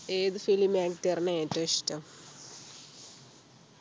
ഏത് film actor നെയാ ഏറ്റവും ഇഷ്ടം